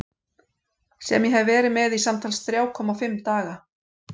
Sem ég hef verið með í samtals þrjá komma fimm daga.